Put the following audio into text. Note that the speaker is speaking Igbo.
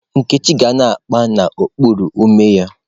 Nkechi ga na-akpa n'okpuru ume ya.